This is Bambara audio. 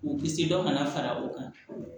K'u kisi dɔ ka na fara u kan